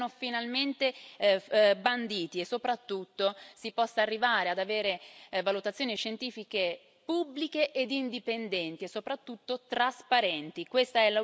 vengano finalmente banditi e, soprattutto, si possa arrivare ad avere valutazioni scientifiche pubbliche ed indipendenti e soprattutto trasparenti.